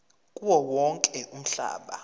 kuwo wonke umhlaba